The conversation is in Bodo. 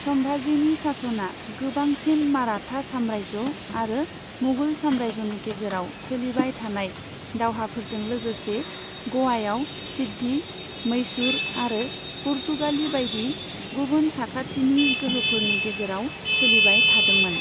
सम्भाजीनि शासनआ गोबांसिन मराठा साम्राज्य आरो मुगल साम्राज्यनि गेजेराव सोलिबाय थानाय दावहाफोरजों लोगोसे ग'वायाव सिद्दी, मैसूर आरो पुर्तगाली बायदि गुबुन साखाथिनि गोहोफोरनि गेजेराव सोलिबाय थादोंमोन।